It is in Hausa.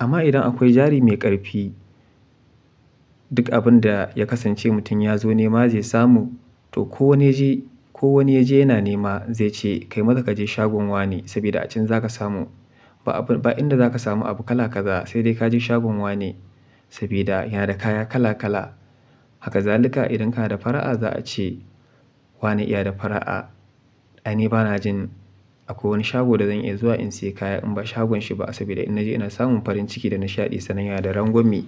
Amma idan akwai jari mai ƙarfi, duk abin da ya kasance mutum ya zo nema zai samu, to ko wani ya je, ko wani ya je yana nema zai ce kai maza kaje shagon wane sabida a can za ka samu. Ba abin, ba inda za ka samu abu kala kaza sai dai kaje shagon wane saboda yana da kaya kala kala. Haka zaluka idan kana da fara'a za a ce wane ya da fara'a. Aini ba na jin akwai wani shago da zan iya zuwa in sayi kaya in ba shagon shi ba saboda in naje ina samun farin ciki da nashaɗi sannan yana da rangwamme.